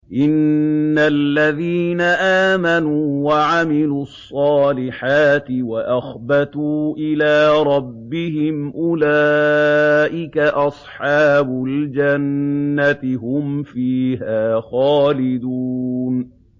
إِنَّ الَّذِينَ آمَنُوا وَعَمِلُوا الصَّالِحَاتِ وَأَخْبَتُوا إِلَىٰ رَبِّهِمْ أُولَٰئِكَ أَصْحَابُ الْجَنَّةِ ۖ هُمْ فِيهَا خَالِدُونَ